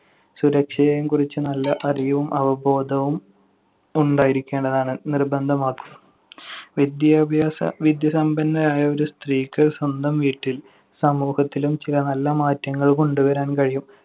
സുരക്ഷയെയും കുറിച്ച് നല്ല അറിവും അവബോധവും ഉണ്ടായിരിക്കേണ്ടതാണ്. നിർബന്ധം . വിദ്യാഭ്യാസ~ വിദ്യാസമ്പന്നയായ ഒരു സ്ത്രീക്ക് സ്വന്തം വീട്ടില്‍ സമൂഹത്തിലും ചില നല്ല മാറ്റങ്ങൾ കൊണ്ടുവരാൻ കഴിയും.